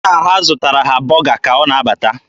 Nna ha zụtara ha bọga ka ọ na-abata.